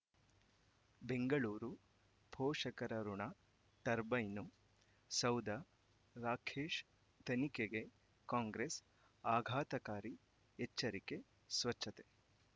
ಬೆಂಗಳೂರು ಪೋಷಕರಋಣ ಟರ್ಬೈನು ಸೌಧ ರಾಕೇಶ್ ತನಿಖೆಗೆ ಕಾಂಗ್ರೆಸ್ ಆಘಾತಕಾರಿ ಎಚ್ಚರಿಕೆ ಸ್ವಚ್ಛತೆ